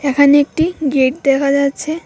এখানে একটি গেট দেহা যাচ্ছে।